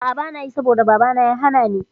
A'a banayi saboda babana ya hanani